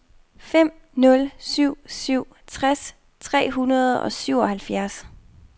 fem nul syv syv tres tre hundrede og syvoghalvfjerds